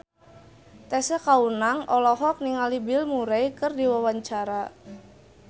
Tessa Kaunang olohok ningali Bill Murray keur diwawancara